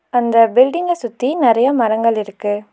அந்த பில்டிங்க சுத்தி நெறைய மரங்கள் இருக்கு.